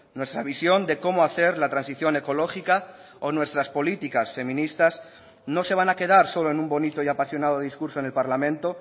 nuestra visión de cómo hacer la transición ecológica o nuestras políticas feministas no se van a quedar solo en un bonito y apasionado discurso en el parlamento